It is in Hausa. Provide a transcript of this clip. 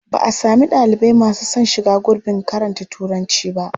Ba a sami ɗalibai masu son shiga gurbin karanta Turanci ba.